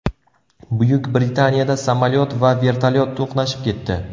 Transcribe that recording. Buyuk Britaniyada samolyot va vertolyot to‘qnashib ketdi.